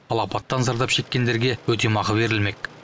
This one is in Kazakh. ал апаттан зардап шеккендереге өтемақы берілмек